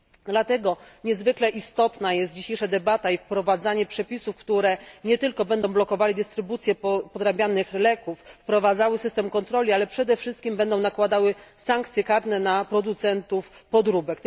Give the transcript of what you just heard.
Dlatego niezwykle istotna jest dzisiejsza debata i wprowadzanie przepisów, które nie tylko będą blokowały dystrybucję podrabianych leków, wprowadzały system kontroli, ale przede wszystkim będą nakładały sankcje karne na producentów podróbek.